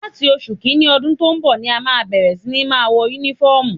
Láti oṣù kìíní ọdún tó ń bọ̀ ni à ó bẹ̀rẹ̀ sí ní máa wọ Únífọ́ọ̀mù